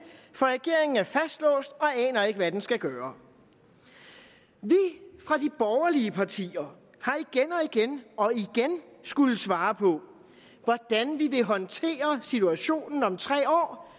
for regeringen er fastlåst og aner ikke hvad den skal gøre vi fra de borgerlige partier har igen og igen skullet svare på hvordan vi vil håndtere situationen om tre år